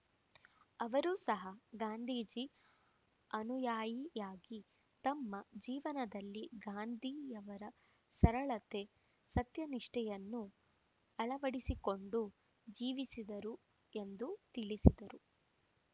ಅವರೂ ಸಹ ಗಾಂಧೀಜಿ ಆನುಯಾಯಿಯಾಗಿ ತಮ್ಮ ಜೀವನದಲ್ಲಿ ಗಾಂಧೀಯವರ ಸರಳತೆ ಸತ್ಯನಿಷ್ಠೆಯನ್ನು ಅಳವಡಿಸಿಕೊಂಡು ಜೀವಿಸಿದರು ಎಂದು ತಿಳಿಸಿದರು